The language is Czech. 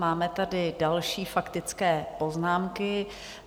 Máme tady další faktické poznámky.